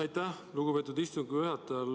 Aitäh, lugupeetud istungi juhataja!